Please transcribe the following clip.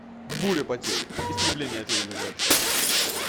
буря потерь истребление цивилизации